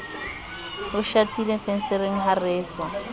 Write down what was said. ho shatilefensetereng ha re tswaa